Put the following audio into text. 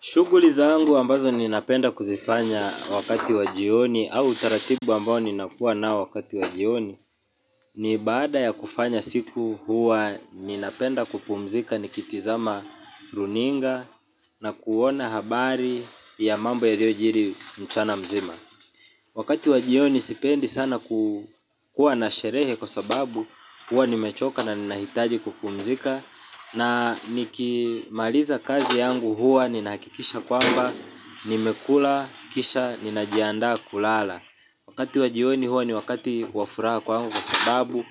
Shughuli zangu ambazo ninapenda kuzifanya wakati wa jioni au utaratibu ambao ninakua nao wakati wajioni. Ni baada ya kufanya siku huwa ninapenda kupumzika nikitizama runinga na kuona habari ya mambo yaliyojiri mchana mzima. Wakati wajioni sipendi sana kuwa na sherehe kwa sababu huwa nimechoka na ninahitaji kupumzika. Na nikimaliza kazi yangu huwa ninakikisha kwamba nimekula, kisha, ninajianda kulala. Wakati wa jioni huwa ni wakati wa furaha kwangu. Kwa sababu